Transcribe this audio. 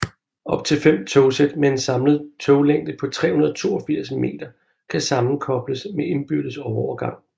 Op til fem togsæt med en samlet toglængde på 382 meter kan sammenkobles med indbyrdes overgang